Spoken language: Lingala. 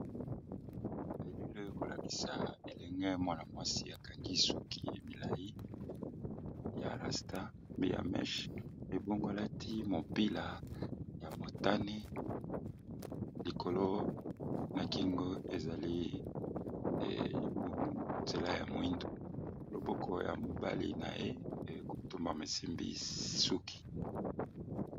Elili ekolakisa elenge mwana mwasi akangi suki milayi ya rasta pe ya mèche, ebongo alati mopila ya motani likolo na kingo ezali nzela ya moyindo loboko ya mobali na ye ekotumba esimbi suki.